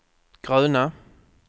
gröna